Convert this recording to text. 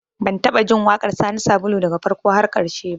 Ban taɓa jin waƙar Sani Sabulu daga farko har ƙarshe ba